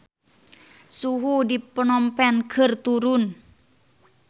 Suhu di Phnom Penh keur turun